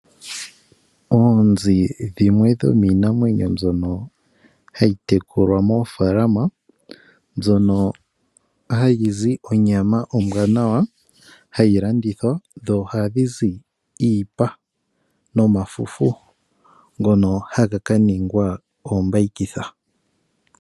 Oonzi dhimwe dhomiinamwenyo mbyono hayi tekulwa moofalama mbyono hayi zi onyama ombwanawa hayi landithwa dho ohadhi zi iipa noma fufu ngono haga ka ningwa oombayikitha.